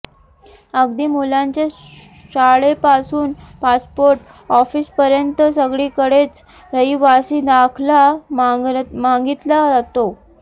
अगदी मुलांच्या शाळेपासून पासपोर्ट ऑफिसपर्यंत सगळीकडेच रहिवासी दाखला मागितला जातो